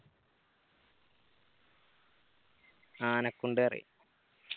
ആനക്കുണ്ട് പറയും